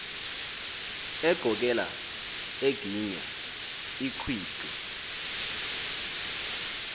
eqokela eginya ingqwiqi